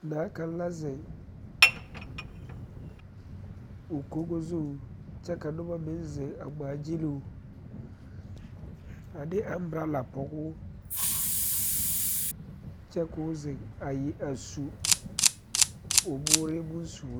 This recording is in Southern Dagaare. Naa kaŋ la zeŋ o logo zu kyɛ ka noba meŋ zeŋ a ŋmaa gyiluu a de abɔrɔla pɔge o kyɛ ka o zeŋ a zu o bore bonsuuri